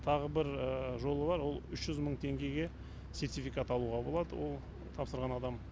тағы бір жолы бар ол үш жүз мың теңгеге сертификат алуға болады ол тапсырған адам